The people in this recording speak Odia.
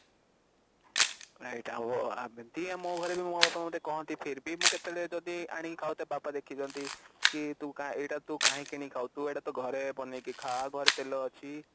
ହଁ ଏଇଟା ହବ ଯେମିତି ମୋ ଘରେ ବି ମୋ ବାପା ମା ମତେ କହନ୍ତି ଫିର ଭି ମୁଁ କେତେବେଳେ ଯଦି ଆଣିକି ଖାଉଥାଏ ବାବା ଦେଖିଦିଅନ୍ତି କି ତୁ ଏଇଟା କାହିଁକି କିଣିକି ଖାଉଛୁ ତୁ ଏଇଟା ଟା ଘରେ ବନେଇକି ଖା ଘରେ ତେଲ ଅଛି